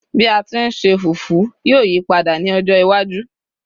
bi a ti n se fufu yíò yipada ní ọjọ iwaju